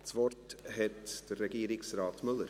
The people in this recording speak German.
– Das Wort hat Regierungsrat Müller.